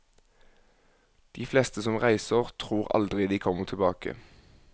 De fleste som reiser tror aldri de kommer tilbake.